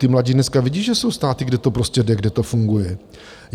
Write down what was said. ti mladí dneska vidí, že jsou státy, kde to prostě jde, kde to funguje.